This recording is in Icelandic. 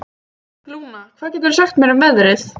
Lúna, hvað geturðu sagt mér um veðrið?